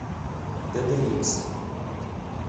дд икс